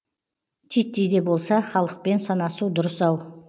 титтей де болса халықпен санасу дұрыс ау